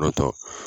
Kɔrɔtɔ